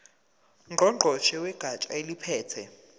ngqongqoshe wegatsha eliphethe